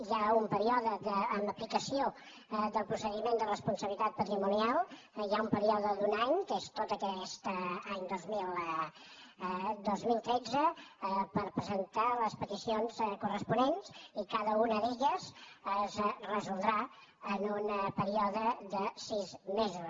hi ha un període d’aplicació del procediment de responsabilitat patrimonial hi ha un període d’un any que és tot aquest any dos mil dotze per pre·sentar les peticions corresponents i cada una d’elles es resoldrà en un període de sis mesos